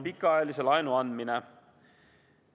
... pikaajalise laenu andmine.